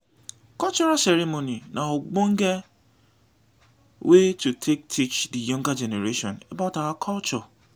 cultural ceremony na ognonge wey to take teach di younger generation about our culture